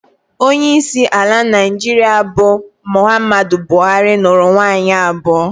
Onyeisi ala Naịjirịa bụ Muhammadu Buhari, nụrụ nwaanyị abụọ